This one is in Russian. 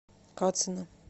кацина